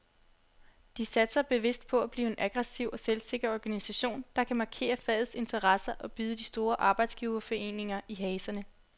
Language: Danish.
De satser bevidst på at blive en aggressiv og selvsikker organisation, der kan markere fagets interesser og bide de store arbejdsgiverforeninger i haserne.